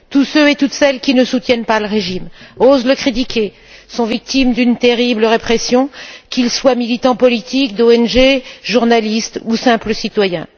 Tous ceux et toutes celles qui ne soutiennent pas le régime, qui osent le critiquer, sont victimes d'une terrible répression, qu'ils soient militants politiques ou d'ONG, journalistes ou simples citoyens.